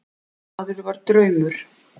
Þessi maður var draumur.